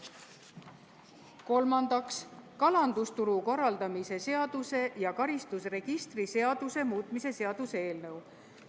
Kolmandaks, kalandusturu korraldamise seaduse ja karistusregistri seaduse muutmise seaduse eelnõu.